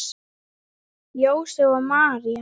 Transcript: Jósep og María